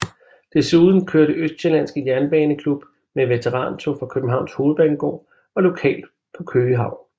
Desuden kørte Østsjællandske Jernbaneklub med veterantog fra Københavns Hovedbanegård og lokalt på Køge Havn